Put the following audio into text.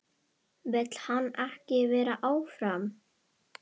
Vill hann ekki vera áfram?